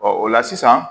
Ɔ o la sisan